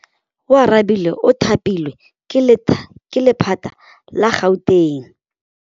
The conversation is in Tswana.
Oarabile o thapilwe ke lephata la Gauteng.